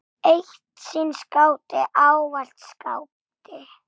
Eitt sinn skáti, ávallt skáti.